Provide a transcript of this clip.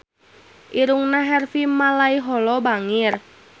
Irungna Harvey Malaiholo bangir